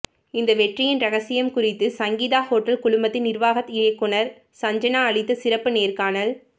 இந்த வெற்றியின் ரகசியம் குறித்து சங்கீதா ஹோட்டல் குழுமத்தின் நிர்வாக இயக்குனர் சஞ்சனா அளித்த சிறப்பு நேர்காணல்